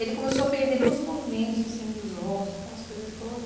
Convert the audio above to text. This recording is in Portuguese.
Ele começou a perder todos os movimentos, assim, dos ossos, aquelas coisas todas.